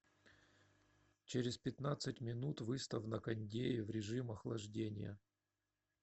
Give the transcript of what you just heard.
через пятнадцать минут выставь на кондее в режим охлаждения